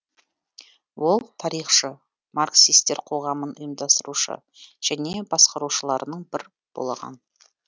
ол тарихшы марксистер қоғамын ұйымдастырушы және басқарушыларының бірі болған